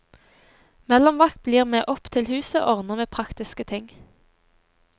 Mellomvakt blir med opp til huset og ordner med praktiske ting.